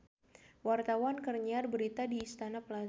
Wartawan keur nyiar berita di Istana Plaza